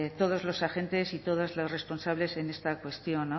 todos los agentes y todos los responsables en esta cuestión